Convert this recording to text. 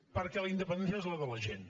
perquè la independència és la de la gent